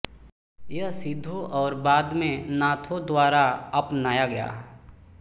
यह सिद्धों और बाद में नाथों द्वारा अपनाया गया